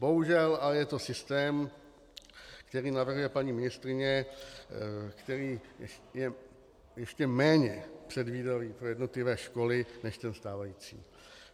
Bohužel ale je to systém, který navrhuje paní ministryně, který je ještě méně předvídavý pro jednotlivé školy než ten stávající.